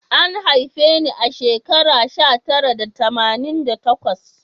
An haife ni a shekara sha tara tamanin da takwas